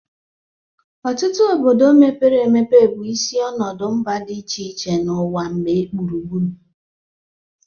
Ọtụtụ obodo mepere emepe bụ isi ọnọdụ mba dị iche iche n'ụwa gbaa gburugburu.